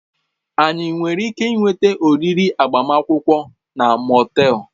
Anyị nwere ike ịnweta oriri agbamakwụkwọ na Motel?